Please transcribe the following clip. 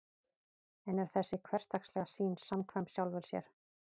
en er þessi hversdagslega sýn samkvæm sjálfri sér